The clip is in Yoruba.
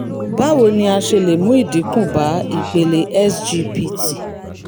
báwo ni a ṣe lè mú ìdínkù bá ipele sgpt?